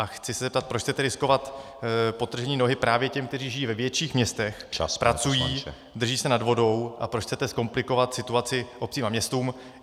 A chci se zeptat, proč chcete riskovat podtržení nohy právě těm, kteří žijí ve větších městech , pracují, drží se nad vodou, a proč chcete zkomplikovat situaci obcím a městům.